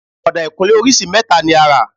Ọ̀dà ìkunlé orísìí mẹ́ta ni a rà